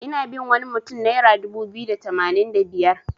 Ina bin wani mutun naira dubu biyu da tamanin da biyar.